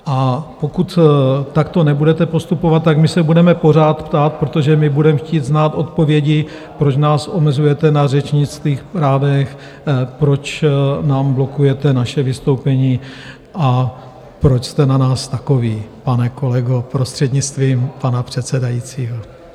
A pokud takto nebudete postupovat, tak my se budeme pořád ptát, protože my budeme chtít znát odpovědi, proč nás omezujete na řečnických právech, proč nám blokujete naše vystoupení a proč jste na nás takoví, pane kolego, prostřednictvím pana předsedajícího.